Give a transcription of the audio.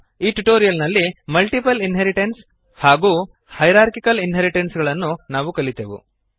ಈ ಟ್ಯುಟೋರಿಯಲ್ ನಲ್ಲಿ multiple inheritance hierarchical inheritance ಗಳನ್ನು ನಾವು ಕಲಿತೆವು